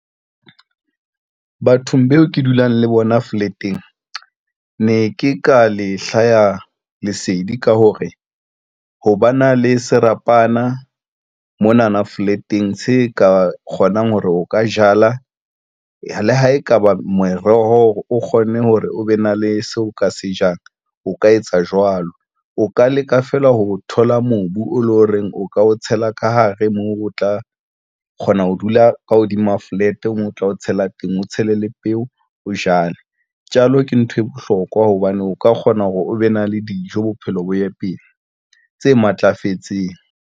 Bathong bao ke dulang le bona flat-eng ne ke ka le hlaya lesedi ka hore ho ba na le serapana monana flat-eng se ka kgonang hore o ka jala. Le ha ekaba moroho o kgonne hore o be na le seo o ka se jang, o ka etsa jwalo. O ka leka fela ha o thola mobu o leng ho reng o ka o tshela ka hare moo o tla o kgona ho dula ka hodima flat, o tla o tshela teng, o tshele le peo, o jale, jalo ke nthwe bohlokwa hobane o ka kgona hore o be na le dijo. Bophelo bo ye pele tse matlafetseng.